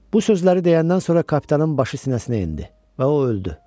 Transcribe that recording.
Bu sözləri deyəndən sonra kapitanın başı sinəsinə endi və o öldü.